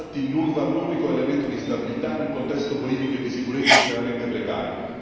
Infatti, l'UNRWA è l'unico elemento di stabilità in un contesto politico e di sicurezza estremamente precario.